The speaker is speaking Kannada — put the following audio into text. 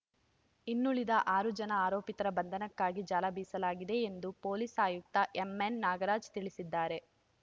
ಇನ್ನುಳಿದ ಆರು ಜನ ಆರೋಪಿತರ ಬಂಧನಕ್ಕಾಗಿ ಜಾಲ ಬೀಸಲಾಗಿದೆ ಎಂದು ಪೋಲಿಸ ಆಯುಕ್ತ ಎಮ್ಎನ್ನಾಗರಾಜ ತಿಳಿಸಿದ್ದಾರೆ